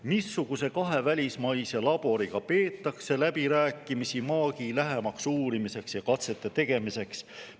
Missuguse kahe välismaise laboriga peetakse läbirääkimisi maagi lähemaks uurimiseks ja katsete tegemiseks?